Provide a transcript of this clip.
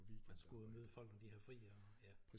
Man skal ud at møde folk når de har fri og ja